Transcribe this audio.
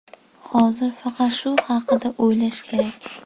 Hozir faqat shu haqida o‘ylash kerak.